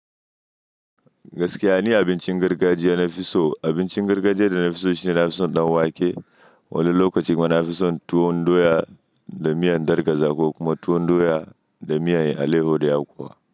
Gaskiya ni abincin gargajiya na fi so. Abincin gargajiya da na fi so shine na fi son ɗan wake. Wani lokacin ma na fi son tuwon doya da miyan darƙaza ƙo kuma tuwon doya da miyan aleho da yakuwa.